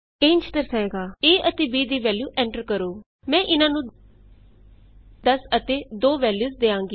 ਇਹ ਇੰਝ ਦਰਸਾਏਗਾ a ਅਤੇ b ਦੀ ਵੈਲਯੂ ਐਂਟਰ ਕਰੋ enter the value of A and B ਮੈਂ ਇਹਨਾਂ ਨੂੰ 10 ਅਤੇ 2 ਵੈਲਯੂਸ ਦਿਆਂਗੀ